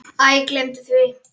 Æ, gleymdu því.